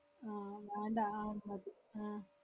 ആഹ് മാണ്ട അഹ് മതി.